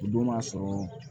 O don m'a sɔrɔ